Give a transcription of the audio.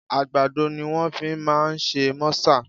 Àgbàdo ni wọ́n fi máa ń ṣe mọ́sà